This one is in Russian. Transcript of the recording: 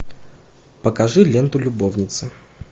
покажи ленту любовницы